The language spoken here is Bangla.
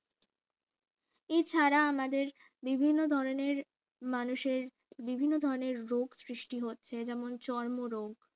এছাড়া আমাদের বিভিন্ন ধরনের মানুষের বিভিন্ন ধরণের রোগ সৃষ্টি হচ্ছে যেমন চর্মরোগ